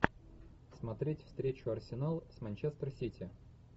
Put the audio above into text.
смотреть встречу арсенал с манчестер сити